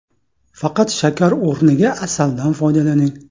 Faqat shakar o‘rniga asaldan foydalaning.